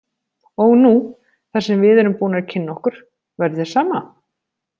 Og nú, þar sem við erum búnir að kynna okkur, væri þér sama?